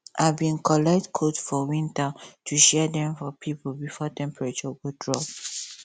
i bin collect coat for winter to share dem for pipo before temperature go drop